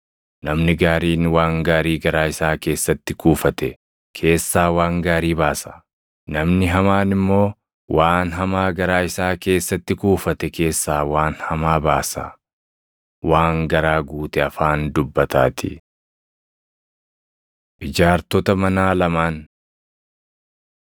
Namni gaariin waan gaarii garaa isaa keessatti kuufate keessaa waan gaarii baasa; namni hamaan immoo waan hamaa garaa isaa keessatti kuufate keessaa waan hamaa baasa. Waan garaa guute afaan dubbataatii. Ijaartota Manaa Lamaan 6:47‑49 kwf – Mat 7:24‑27